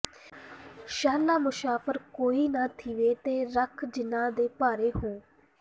ਸ਼ਾਲਾ ਮੁਸ਼ਾਫ਼ਰ ਕੋਈ ਨਾ ਥੀਵੇ ਤੇ ਕੱਖ ਜਿਨ੍ਹਾਂ ਦੇ ਭਾਰੇ ਹੂ